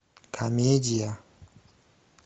комедия